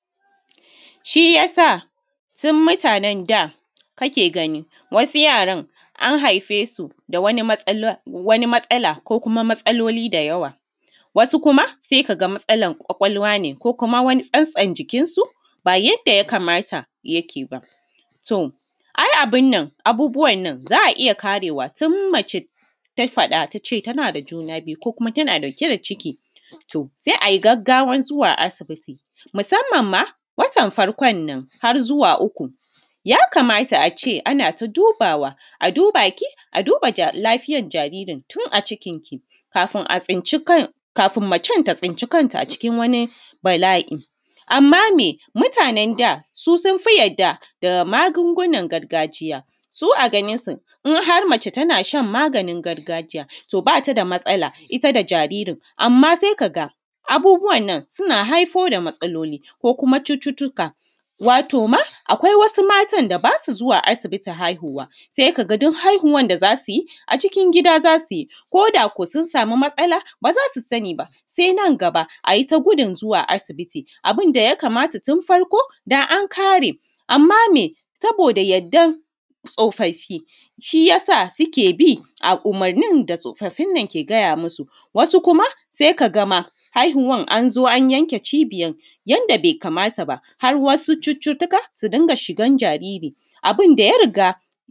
Shi ya sa su mutanen da kake gani an haife su da wani matsala ko kuma wasu matsaloli da yawa wasu kuma sai ka ga matsalar ƙwaƙwalwa ne ko kuma wani tsatson jikinsu ba yanda ya kamata yake ba. Ai abun nan abubuwa nan za a iya karewa tun mace ta faɗa ta ce, tana da juna biyu ciki sai a yi gaggawa zuwa asibiti musamman ma watan farko nan har zuwa na uku. Ya kamata a ce ana ta dubawa a a duba ki a duba jaririn tun a cikinki, kafin macen ta tsinci kanta a cikin wani bala'i. Amma me mutanen da sun fi yarda da magungunan gargajiya su a ganinsu in har mace ta a shan maganin gargajiya ba ta da Matsala ita da jaririn amma sai ka ga abubuwa nan suna haifar da matsaloli da cututtuka wato ma akwai wasu matan da ba su zuwa asibitin haihuwa duk haihuwar da za su yi a cikin gida za su haihu ko sun sama matsala ba za su sani ba sai nan gaba a yi ta gudun zuwa asibiti. Abun da ya ya kamata tun farko da an kare amma me saboda yardan tsofaffi shi ya sa suke bi a umurnin da ake gaya musu. Wasu kuma sai ka ga ma haihuwar an zo an yanke cibiyar yanda bai kamata ba har cututtuka su riƙa shigar jariri abun da ya riga.